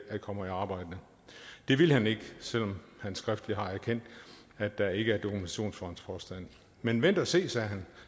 kommer i arbejde det ville han ikke selv om han skriftligt har erkendt at der ikke er dokumentation for hans påstand men vent at se sagde han